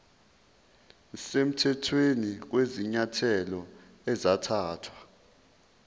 semthethweni kwezinyathelo ezathathwa